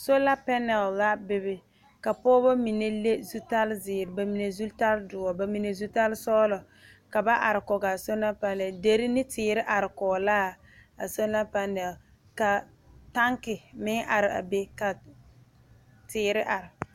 Solar panels la be be ka pɔgeba mine leŋ zutarre zeɛre ba mine zutarre doɔre ba mine zutarre sɔglɔ ka ba are kɔɔ a solar panels deri ne teere are kɔɔ la a solar panel ka tanki meŋ are a be ka teere are.